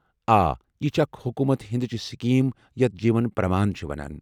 آ، یہِ چھےٚ اکھ حكوُمت ہِندٕچہِ سكیم یتھ جیٖون پرٛمان چھِ ونان۔